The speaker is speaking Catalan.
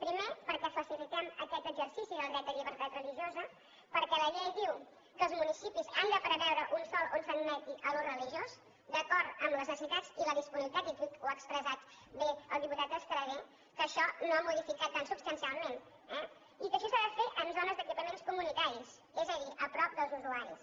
primer perquè facilitem aquest exercici del dret de llibertat religiosa perquè la llei diu que els municipis han de preveure un sòl on s’admeti l’ús religiós d’acord amb les necessitats i la disponibilitat i aquí ho ha expressat bé el diputat estradé que això no ho ha modificat tan substancialment eh i que això s’ha de fer en zones d’equipaments comunitaris és a dir a prop dels usuaris